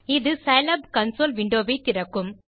இது Scilab console window வை திறக்கும்